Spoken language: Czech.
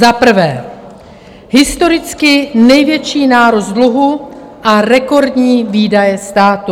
Za prvé, historicky největší nárůst dluhu a rekordní výdaje státu.